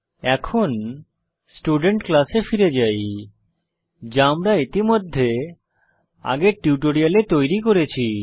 এখন স্টুডেন্ট ক্লাসে ফিরে যাই যা আমরা ইতিমধ্যে আগের টিউটোরিয়ালে তৈরি করেছি